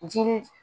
Jiri